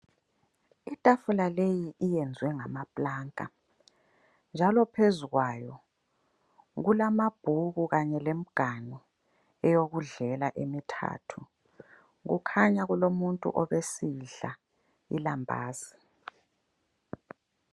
Itafula leyi iyenziwe ngamaplanka njalo phezukwayo, kulamabhuku kanye lemganu eyokudlela emithathu. Kukhanya kulomuntu obesidla ilambazi.